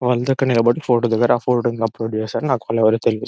వాళ్ళుతో అక్కడ నిలబడి ఫోటో దిగారా ఫోటో ని ఇంకా అప్లోడ్ చేసారు. నాకు వాళ్ళు ఎవరో తెలీదు.